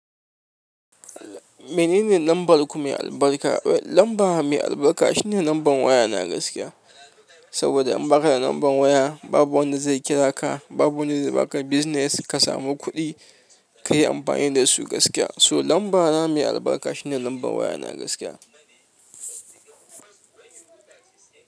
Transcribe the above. Menene lambar ku mai albarka? Lambar mu mai albarka shine lambar waya na gaskiya. Saboda in baka da lambar waya babu wanda zai kira ka, babu wanda zai baka business ka samu kuɗi ka yi amfani da su gaskiya. So lambar na mai albarka shine lambar waya na gaskiya.